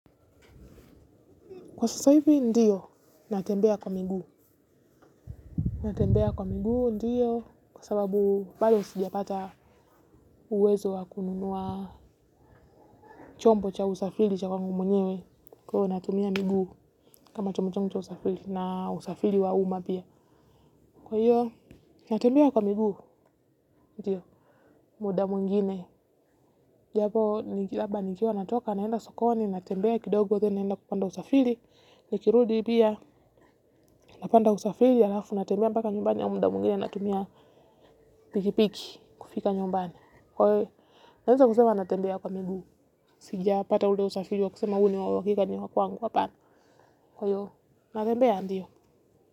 Kwa sasa hivi ndiyo, natembea kwa miguu, natembea kwa miguu, ndiyo, kwa sababu bado sijapata uwezo wa kununua chombo cha usafiri cha kwangu mwenyewe, kwa hivyo natumia miguu kama chombo changu cha usafiri na usafiri wa umma pia. Kwa hiyo, natembea kwa miguu, muda mwingine, japo ni jaba nilikiwa natoka, naenda sokoni, natembea kidogo then naenda kupanda usafiri, nikirudi pia, napanda usafiri, alafu, natembea mpaka nyumbani au muda mwingine, natumia pikipiki, kufika nyumbani. Kwa hiyo, naweza kusema natembea kwa miguu, sijapata ule usafiri wa kusema huu ni wa uhakika ni wa kwangu hapana. Kwa hiyo, natembea ndiyo.